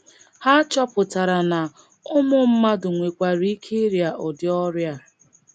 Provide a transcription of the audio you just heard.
Ha chọpụtara na ụmụ mmadụ nwekwara ike irịa ụdị ọrịa.